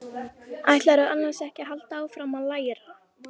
Ætlarðu annars ekki að halda áfram að læra?